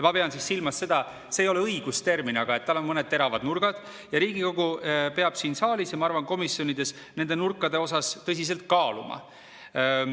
Ma pean silmas seda – see ei ole õigustermin –, et tal on mõned teravad nurgad ja Riigikogu peab siin saalis ja, ma arvan, ka komisjonides nende nurkade osas tõsiselt kaaluma.